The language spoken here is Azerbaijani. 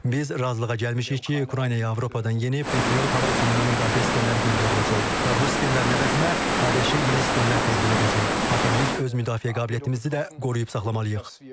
Biz razılığa gəlmişik ki, Ukraynaya Avropadan yeni Patriot hava hücumundan müdafiə sistemləri göndəriləcək və bu sistemlərin əvəzinə ABŞ-a yeni sistemlər təqdim edəcək, axı biz öz müdafiə qabiliyyətimizi də qoruyub saxlamalıyıq.